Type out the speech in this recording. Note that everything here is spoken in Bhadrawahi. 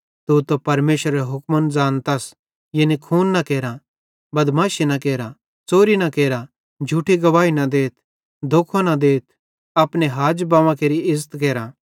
तू त परमेशरेरे हुक्मन ज़ानतस यानी खून न केरा बदमाशी न केरा च़ोरी न केरा झूठी गवाही न देथ धोखो न देथ अपने हाजबव्वां केरि इज़्ज़त केरा